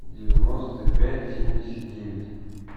девяносто пять семьдесят девять